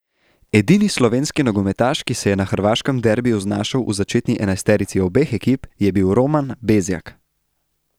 Edini slovenski nogometaš, ki se je na hrvaškem derbiju znašel v začetni enajsterici obeh ekip, je bil Roman Bezjak.